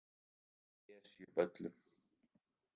Esjuvöllum